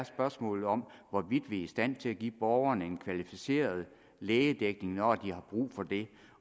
spørgsmålet om hvorvidt vi er i stand til at give borgerne en kvalificeret lægedækning når de får brug for det